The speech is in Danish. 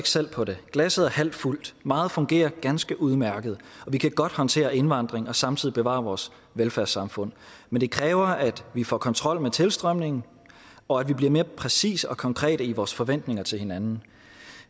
selv på det glasset er halvt fuldt meget fungerer ganske udmærket vi kan godt håndtere indvandring og samtidig bevare vores velfærdssamfund men det kræver at vi får kontrol med tilstrømningen og at vi bliver mere præcise og konkrete i vores forventninger til hinanden